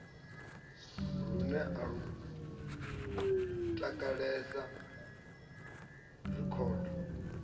lune a lu takalela rekhodo